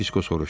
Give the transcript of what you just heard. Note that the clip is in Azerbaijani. Disko soruşdu.